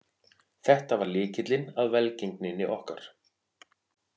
Þetta var lykillinn að velgengninni okkar